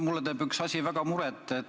Mulle teeb üks asi väga muret.